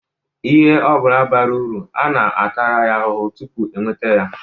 lhe obula bara uru a na-atara ya ahuhu tupu e nweta ya.